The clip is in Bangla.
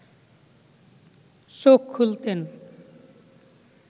চোখ খুলতেন